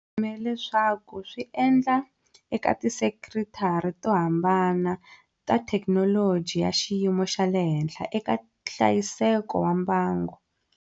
Va ti kumele swa ku swi endla eka tisekitara to hambana ta thekinoloji ya xiyimo xa le henhla eka hlayiseko wa mbango.